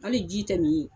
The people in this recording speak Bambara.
Hali ji tɛ nin ye